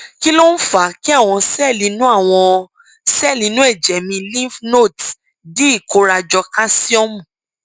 kí ló ń fa kí àwọn sẹẹlì inú àwọn sẹẹlì inú ẹjẹ mi lymph nodes di ìkórajọ káṣíọmù